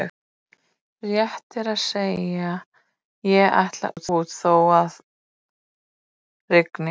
Rétt er að segja: ég ætla út þó að rigni